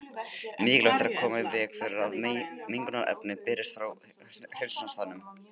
Mikilvægt er að koma í veg fyrir að mengunarefni berist frá hreinsunarstaðnum.